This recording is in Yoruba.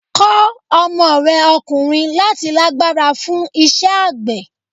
Kọ́ ọmọ rẹ ọkùnrin láti lágbára fún iṣẹ́ àgbẹ̀.